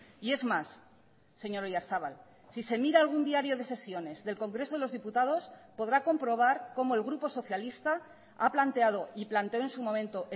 y es más señor oyarzabal si se mira algún diario de sesiones del congreso de los diputados podrá comprobar como el grupo socialista ha planteado y planteó en su momento